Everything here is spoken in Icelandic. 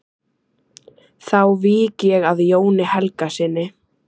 Þá vík ég að Jóni Helgasyni.